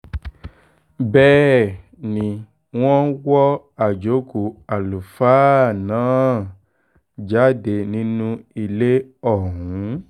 bẹ́ẹ̀ ni wọ́n wọ àjókù àlùfáà náà jáde nínú ilé ọ̀hún